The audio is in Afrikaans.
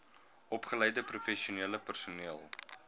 opgeleide professionele personeel